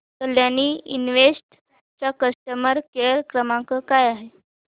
Kalyani invest चा customer care क्रमांक काय आहे